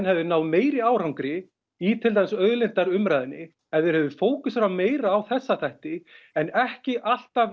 hefðum náð meiri árangri í til dæmis auðlindaumræðunni ef þeir hefðu fókuserað meira á þessa hluti en ekki alltaf